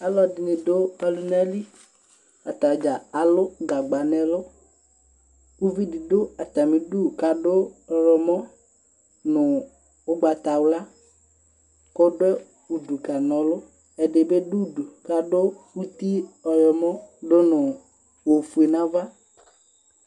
Alʋɛdɩnɩ dʋ ɔlʋna li :atadza alʋ gagba n'ɛlʋ ; uvidɩ dʋ atamidu k'adʋ ɔyɔmɔ nʋ ʋgbatawla , k'ɔdʋ udu k'ana ɔlʋ Ɛdɩ bɩ dʋ udu uti ɔyɔmɔ dʋnʋ ofue n'ava